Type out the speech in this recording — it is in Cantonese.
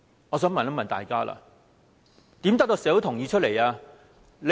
我想問大家，如何得到社會的同意？